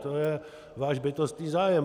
To je váš bytostný zájem.